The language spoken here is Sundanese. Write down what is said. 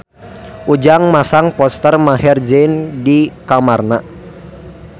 Ujang masang poster Maher Zein di kamarna